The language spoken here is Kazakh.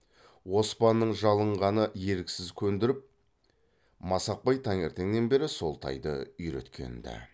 оспанның жалынғаны еріксіз көндіріп масақбай таңертеңнен бері сол тайды үйреткен ді